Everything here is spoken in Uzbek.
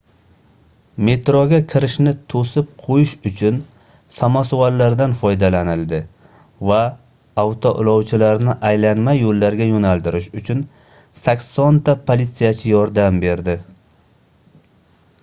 metroga kirishni toʻsib qoʻyish uchun samosvallardan foydalanildi va avtoulovchilarni aylanma yoʻllarga yoʻnaltirish uchun 80 ta politsiyachi yordam berdi